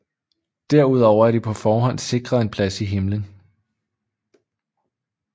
Derudover er de på forhånd sikret en plads i himlen